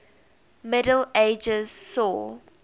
middle ages saw